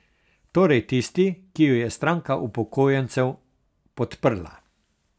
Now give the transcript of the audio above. Torej tisti, ki jo je stranka upokojencev podprla.